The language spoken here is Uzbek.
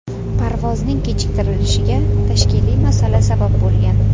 Parvozning kechiktirilishiga tashkiliy masala sabab bo‘lgan.